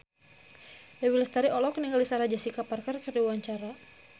Dewi Lestari olohok ningali Sarah Jessica Parker keur diwawancara